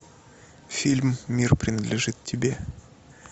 фильм мир принадлежит тебе